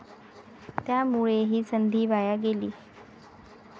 त्यामुळे ही संधी वाया गेली.